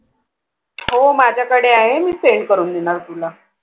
हो माज्याकडे आहे मी Send करून देईल तुला.